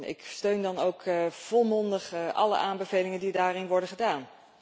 Ik steun dan ook volmondig alle aanbevelingen die daarin worden gedaan.